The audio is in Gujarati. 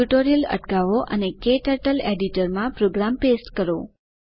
ટ્યુટોરીયલ અટકાવો અને ક્ટર્ટલ એડિટર માં પ્રોગ્રામ પેસ્ટ કરો